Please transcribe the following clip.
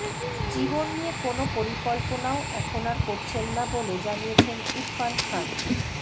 জীবন নিয়ে কোনও পরিকল্পনাও এখন আর করছেন না বলে জানিয়েছেন ইরফান খান